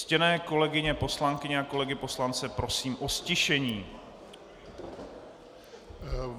Ctěné kolegyně poslankyně a kolegy poslance prosím o ztišení.